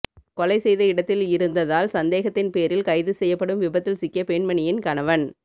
கொலை செய்த இடத்தில் இருந்ததால் சந்தேகத்தின் பேரில் கைது செய்யப்படும் விபத்தில் சிக்கிய பெண்மணியின் கணவன்